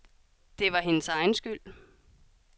Det var hendes egen skyld.